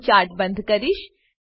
હું ચાર્ટ બંધ કરીશ